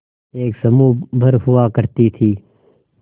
एक समूह भर हुआ करती थी